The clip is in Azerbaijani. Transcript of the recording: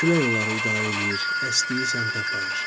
Külək onları idarə eləyir, əsdiyi səmtə aparır.